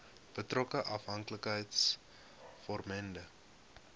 betrokke afhanklikheids vormende